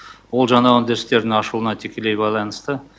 ол жаңа өндірістердің ашылуына тікелей байланысты